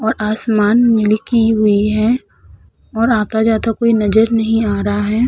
और आसमान हुई है और आता-जाता कोई नजर नहीं आ रहा है।